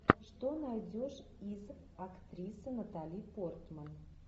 что найдешь из актрисы натали портман